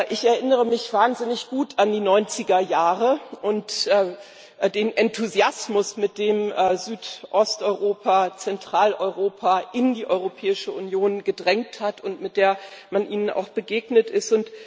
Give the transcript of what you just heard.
Ich erinnere mich wahnsinnig gut an die 90er Jahre und den Enthusiasmus, mit dem Südosteuropa, Zentraleuropa in die Europäische Union gedrängt hat und mit der man ihnen auch begegnet ist.